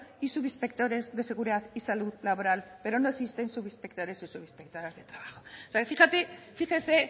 y subinspectores de seguridad y salud laboral pero no existen subinspectores o subinspectoras de trabajo o sea que fíjese